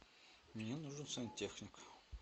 мне нужен сантехник